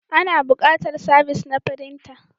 Ana buƙatar sabis na firinta.